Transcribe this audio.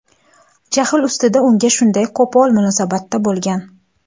jahl ustida unga shunday qo‘pol munosabatda bo‘lgan.